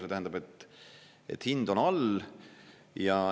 See tähendab, et hind on all.